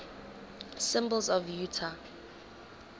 symbols of utah